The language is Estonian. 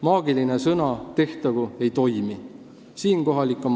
Maagiline sõna "tehtagu" ei toimi.